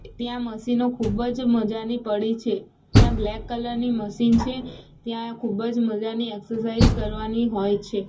ત્યાં મસીનો ખુબજ મજાની પડી છે ત્યાં બ્લેક કલર ની મસીન છે ત્યાં એ ખુબજ મજાની એક્સરસાઇઝ કરવાની હોઇ છે.